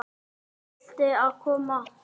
Ketill að koma?